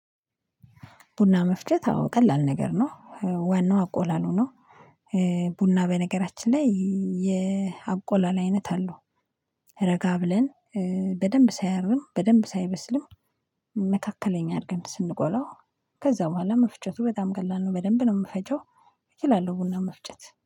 ቡና መፍጨት አዎ ቀላል ነገር ነው ዋናው አቆላሉ ነው። ቡና በነገራችን ላይ የአቆላላ አይነት አለው። ረጋ ብለን በደንብ ሳያርም በደንብ ሳይበስልም መካከለኛ አድርገን ስንቆላው። ከዛ በኋላ መፍጨቱ በጣም ቀላል ነው በደንብ ነው የምፈጨው። እችላለው ቡና መፍጨት